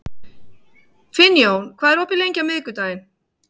Finnjón, hvað er opið lengi á miðvikudaginn?